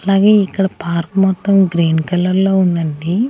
అలాగే ఇక్కడ పార్క్ మొత్తం గ్రీన్ కలర్ లో ఉందండి.